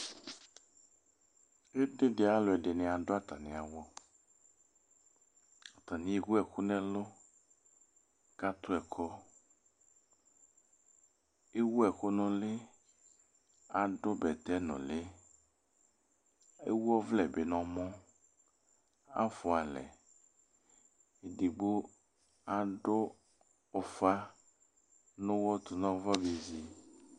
Uti dɩ alʋɛdɩnɩ adʋ atamɩ awʋ Atanɩ ewu ɛkʋ nʋ ɛlʋ kʋ atʋ ɛkɔ Ewu ɛkʋ nʋ ʋlɩ kʋ adʋ bɛtɛnʋlɩ Ewu ɔvlɛ bɩ nʋ ɔmɔ Afʋa alɛ Edigbo adʋ ʋfa nʋ ʋɣɔ tʋ nʋ ava bezi